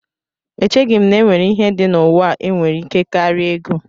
Echeghị m na e nwere ihe dị n'ụwa a nwere ike karịa ego